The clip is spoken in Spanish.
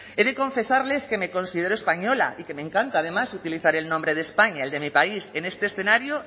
he de confesarles que me considero española y que me encanta además utilizar el nombre de españa el de mi país en este escenario